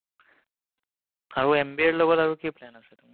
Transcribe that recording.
আৰু MBA ৰ লগত আৰু কি plan আছে তোমাৰ?